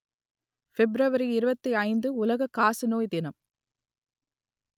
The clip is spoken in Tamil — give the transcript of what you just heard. பிப்ரவரி இருபத்தி ஐந்து உலக காசநோய் தினம்